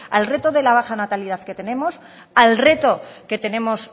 al reto de la baja natalidad que tenemos al reto que tenemos